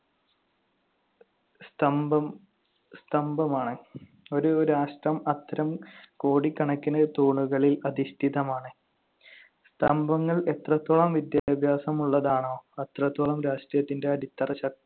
സ്തംഭം~ സ്തംഭമാണ്. ഒരു രാഷ്ട്രം അത്തരം കോടിക്കണക്കിന് തൂണുകളിൽ അധിഷ്ഠിതമാണ്. സ്തംഭങ്ങൾ എത്രത്തോളം വിദ്യാഭ്യാസമുള്ളതാണോ അത്രത്തോളം രാഷ്ട്രീയത്തിന്‍റെ അടിത്തറ